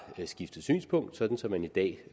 skiftet synspunkt så man i dag